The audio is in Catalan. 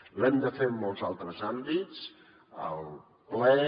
l’hem de fer en molts altres àmbits al ple